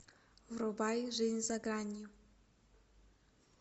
врубай жизнь за гранью